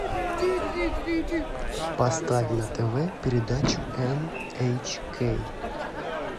поставь на тв передачу эн эйч кей